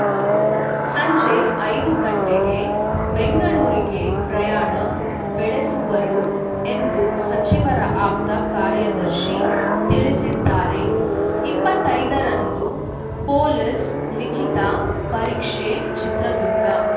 ಸಂಜೆ ಐದು ಗಂಟೆಗೆ ಬೆಂಗಳೂರಿಗೆ ಪ್ರಯಾಣ ಬೆಳೆಸುವರು ಎಂದು ಸಚಿವರ ಆಪ್ತ ಕಾರ್ಯದರ್ಶಿ ತಿಳಿಸಿದ್ದಾರೆ ಇಪ್ಪತ್ತೈದರಂದು ಪೊಲೀಸ್‌ ಲಿಖಿತ ಪರೀಕ್ಷೆ ಚಿತ್ರದುರ್ಗ